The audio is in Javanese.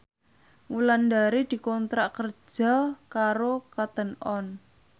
Wulandari dikontrak kerja karo Cotton On